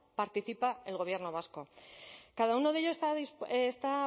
participa el gobierno vasco cada uno de ellos está